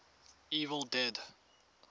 evil dead